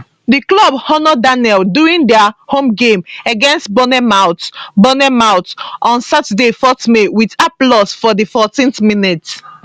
di club honour daniel during dia home game against bournemouth bournemouth on saturday 4 may wit applause for di 14th minute